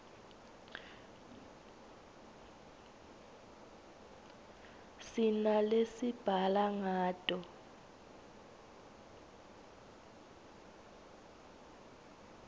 sinalesibhala ngato